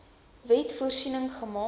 wet voorsiening gemaak